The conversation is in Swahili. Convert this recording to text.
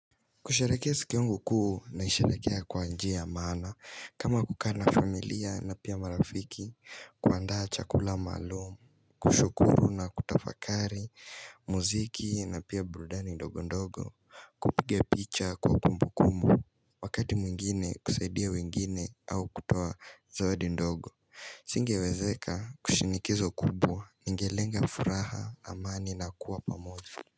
Kusherehekea siku yangu kuu naisherehekea kwa njia ya maana, kama kukaa na familia na pia marafiki, kuandaa chakula maalumu, kushukuru na kutafakari, muziki na pia burudani ndogo ndogo, kupiga picha kwa kumbu kumbu, wakati mwingine kusaidia wengine au kutoa zawadi ndogo Singewezeka kwa shinikizo kubwa, ningelenga furaha, amani na kuwa pamoja.